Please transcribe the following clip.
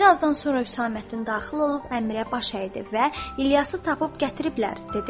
Bir azdan sonra Hüsaməddin daxil olub Əmirə baş əydi və İlyası tapıb gətiriblər, dedi.